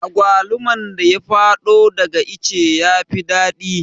Agwaluman da ya fado daga ice yafi daɗi